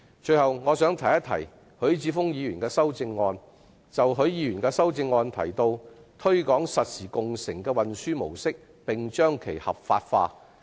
最後，我想談談許智峯議員在修正案中提到"推廣實時共乘的運輸模式，並將其合法化"的建議。